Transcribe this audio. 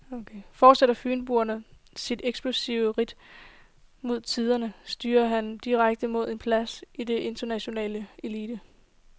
Fortsætter fynboen sit eksplosive ridt mod tinderne, styrer han direkte mod en plads i den internationale elite.